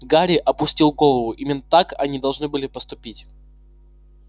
гарри опустил голову именно так они должны были поступить